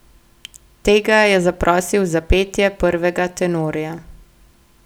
Tega je zaprosil za petje prvega tenorja.